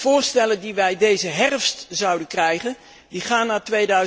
Voorstellen die wij deze herfst zouden krijgen, gaan naar